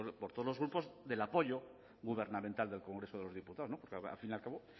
por todos los grupos del apoyo gubernamental del congreso de los diputados porque al fin y al cabo